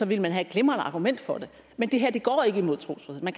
ville man have et glimrende argument for det men det her går ikke imod trosfriheden